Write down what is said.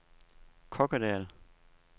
Kokkedal